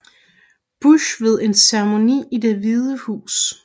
Bush ved en ceremoni i Det Hvide Hus